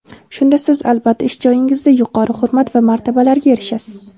Shunda siz albatta ish joyingizda yuqori hurmat va martabalarga erishasiz.